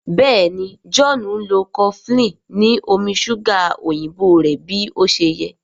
Béèni John nlọ cofflin ni omí ṣuga òyìnbó rẹ bí ọṣẹ yé.